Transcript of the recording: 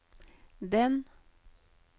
den